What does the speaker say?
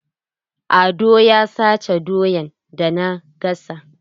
Ado ya sace doyan da na gasa.